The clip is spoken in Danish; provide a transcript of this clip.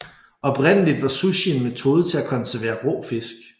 Oprindeligt var sushi en metode til at konservere rå fisk